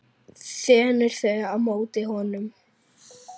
Þenur þau á móti honum.